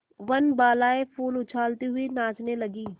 वनबालाएँ फूल उछालती हुई नाचने लगी